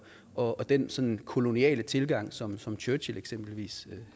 og den sådan koloniale tilgang som som churchill eksempelvis